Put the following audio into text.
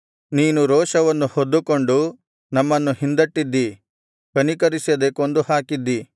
ನೀನು ರೋಷವನ್ನು ಹೊದ್ದುಕೊಂಡು ನಮ್ಮನ್ನು ಹಿಂದಟ್ಟಿದ್ದೀ ಕನಿಕರಿಸದೆ ಕೊಂದು ಹಾಕಿದ್ದೀ